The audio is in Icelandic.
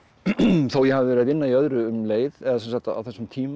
þó ég hafi verið að vinna í öðru um leið eða á þessum tíma